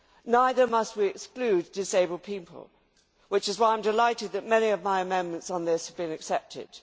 Neither must we exclude disabled people, which is why I am delighted that many of my amendments on this point have been accepted.